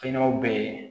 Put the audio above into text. Fɛn wɛrɛw bɛ ye